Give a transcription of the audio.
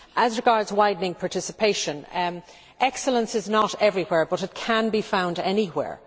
As regards widening participation, excellence is not everywhere but it can be found anywhere.